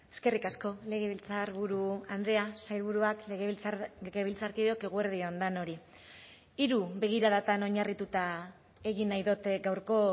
eskerrik asko legebiltzarburu andrea sailburuak legebiltzarkideok eguerdi on denoi hiru begiradatan oinarrituta egin nahi dut gaurko